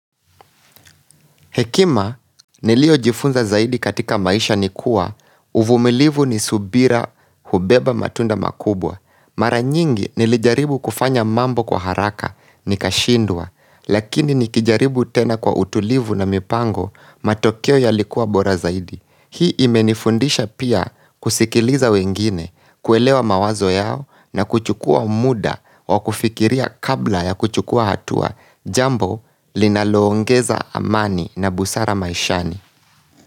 Hekima niliyo jifunza zaidi katika maisha ni kuwa, uvumilivu ni subira hubeba matunda makubwa. Mara nyingi nilijaribu kufanya mambo kwa haraka ni kashindwa, lakini nikijaribu tena kwa utulivu na mipango matokeo ya likuwa bora zaidi. Hii imenifundisha pia kusikiliza wengine, kuelewa mawazo yao na kuchukua muda wa kufikiria kabla ya kuchukua hatua jambo linaloongeza amani. Na busara maishani.